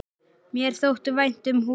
Mér þótti vænt um húsið.